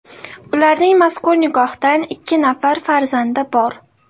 Ularning mazkur nikohdan ikki nafar farzandi bor.